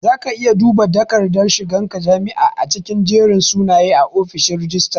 Zaka iya duba dakardar shigan ka jami'a a cikin jerin sunaye a ofishin rajistara